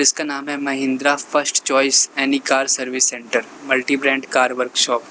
इसका नाम है Mahindra first choice any car service centre multi brand car workshop.